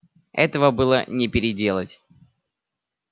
этого было не переделать